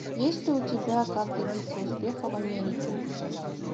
есть ли у тебя как добиться успеха в америке